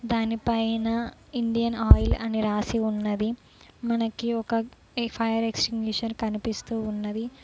దానిపైన Indian oil అని రాసి ఉన్నది మనకి ఒక ఫైర్ ఎక్స్టెన్షన్ కనిపిస్తూ ఉన్నది